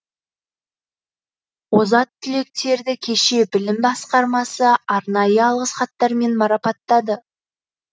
озат түлектерді кеше білім басқармасы арнайы алғыс хаттармен марапаттады